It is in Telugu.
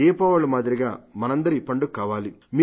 దీపావళి మాదిరిగా మనందరి పండుగ కావాలి